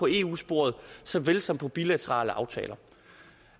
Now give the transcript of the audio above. i eu sporet såvel som i bilaterale aftaler